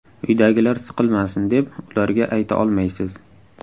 Uydagilar siqilmasin, deb ularga ayta olmaysiz.